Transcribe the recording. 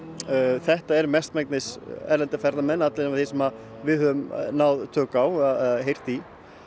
þetta er mestmegnis erlendir ferðamenn allavega allir þeir sem við höfum náð tökum á eða heyrt í